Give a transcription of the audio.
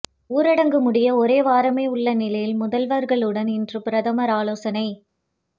ஊரடங்கு முடிய ஒரு வாரமே உள்ள நிலையில் முதல்வர்களுடன் இன்று பிரதமர் ஆலோசனை